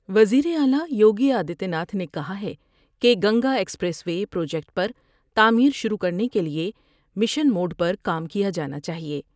وزیراعلی یوگی آدتیہ ناتھ نے کہا ہے کہ گنگا ایکسپریس وے پروجیکٹ پر تعمیر شروع کرنے کے لئے مشن موڈ پر کام کیا جانا چاہئے ۔